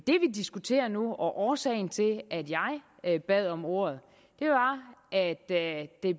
diskuterer nu og årsagen til at jeg bad om ordet er at det